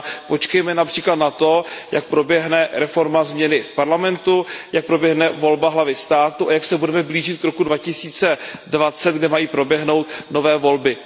Počkejme například na to, jak proběhne reforma v parlamentu, jak proběhne volba hlavy státu a jak se budeme blížit k roku 2020, kdy mají proběhnout nové volby.